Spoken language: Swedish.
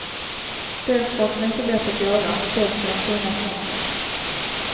Dels för att den är så lätt att göra, dels för den fina smaken.